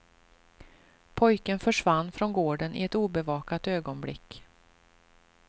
Pojken försvann från gården i ett obevakat ögonblick.